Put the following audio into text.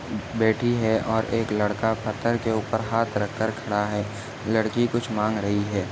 बैठी है और एक लड़का पत्थर के ऊपर हात रखकर खड़ा है लड़की कुछ मांग रही है।